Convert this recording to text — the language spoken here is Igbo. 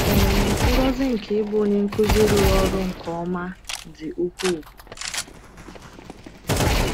um Ngọzi nke ịbụ onye nkuzi rụrụ ọrụ nke ọma dị ukwuu.